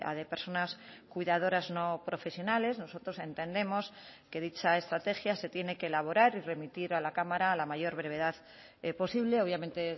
de personas cuidadoras no profesionales nosotros entendemos que dicha estrategia se tiene que elaborar y remitir a la cámara a la mayor brevedad posible obviamente